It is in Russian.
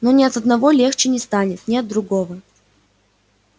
но ни от одного легче не станет ни от другого